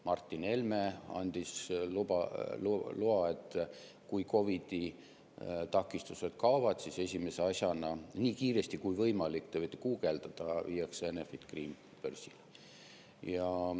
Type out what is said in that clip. Martin Helme andis loa, et kui COVID-i takistused kaovad, siis esimese asjana, nii kiiresti kui võimalik – te võite guugeldada – viiakse Enefit Green börsile.